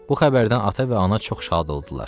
Bu xəbərdən ata və ana çox şad oldular.